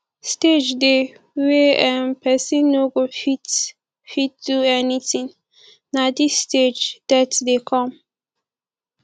stage dey when um person no go fit fit do anything na this stage death dey come